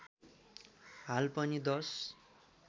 हाल पनि दश